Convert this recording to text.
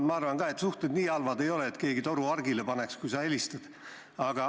Ma arvan ka, et suhted nii halvad ei ole, et keegi toru hargile paneks, kui sa helistad.